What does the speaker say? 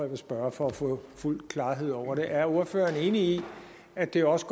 vil spørge for at få fuld klarhed over det er ordføreren enig i at det også